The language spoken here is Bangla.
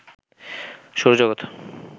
সৌরজগত